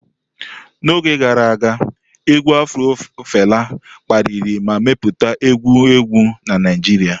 N'oge gara aga, égwù afro Fela kpaliri ma mepụta egwu egwu na Naijiria.